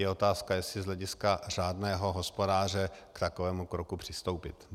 Je otázka, jestli z hlediska řádného hospodáře k takovému kroku přistoupit.